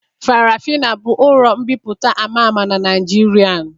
Farafina bụ ụlọ mbipụta ama ama n'Naijiria